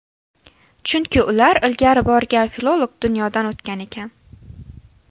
Chunki ular ilgari borgan filolog dunyodan o‘tgan ekan.